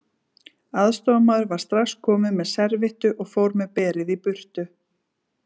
Aðstoðarmaður var strax komin með servíettu og fór með berið í burtu.